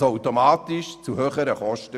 Das führt automatisch zu höheren Kosten.